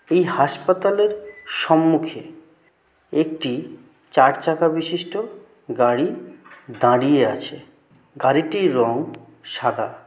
এই হাসপাতালের সম্মুখে একটি চারচাকা বিশিষ্ট গাড়ি দাঁড়িয়ে আছে গাড়িটির রং সাদা।